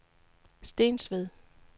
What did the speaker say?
Stensved